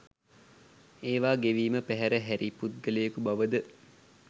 ඒවා ගෙවීම පැහැර හැරි පුද්ගලයකු බවද